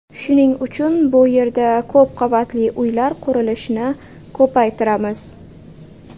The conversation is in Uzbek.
Shuning uchun bu yerda ko‘p qavatli uylar qurilishini ko‘paytiramiz.